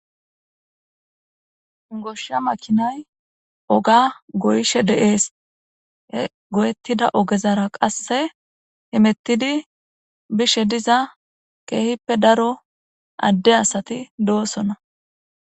goshsha makinay oga goyishe dee'es he goyettida ogezara qasse himettidi bishe diza keehippe daro adde asati do7osona